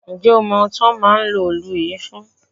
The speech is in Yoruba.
Ṣé o mọ ohun tí wọ́n ń lo òù yìí fún?